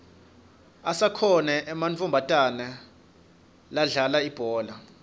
asakhona ematfomatana ladlala ibhola